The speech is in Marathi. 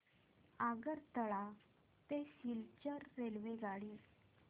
आगरतळा ते सिलचर रेल्वेगाडी